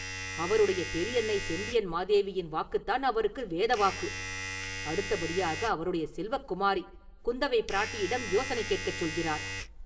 அவருடைய பெரியன்னை செம்பியன் மாதேவியின் வாக்குத்தான் அவருக்கு வேதவாக்கு; அடுத்தபடியாக, அவருடைய செல்வக் குமாரி குந்தவைப்பிராட்டியிடம் யோசனை கேட்கச் சொல்கிறார்.